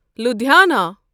Ludhiana